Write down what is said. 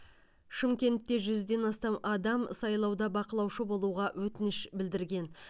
шымкентте жүзден астам адам сайлауда бақылаушы болуға өтініш білдірген